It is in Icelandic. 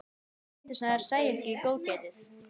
Létu sem þær sæju ekki góðgætið.